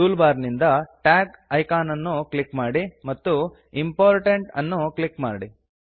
tool bar ನಿಂದ tag icon ಅನ್ನು click ಮಾಡಿ ಮತ್ತು ಇಂಪೋರ್ಟೆಂಟ್ ಅನ್ನು ಆರಿಸಿ